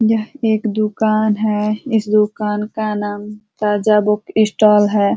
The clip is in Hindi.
यह एक दुकान है। इस दुकान का नाम ताजा बुक स्टाल है।